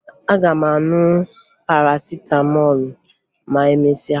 Aga m aṅụ Parasịtamọọlụ ma emesịa